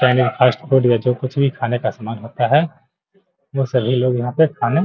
यानी फास्टफूड में जो कुछ भी खाने का सामान होता है वो सभी लोग यहाँ पे खाने --